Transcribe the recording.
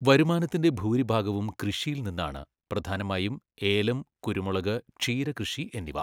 വരുമാനത്തിന്റെ ഭൂരിഭാഗവും കൃഷിയിൽ നിന്നാണ്. പ്രധാനമായും, ഏലം, കുരുമുളക്, ക്ഷീര കൃഷി എന്നിവ.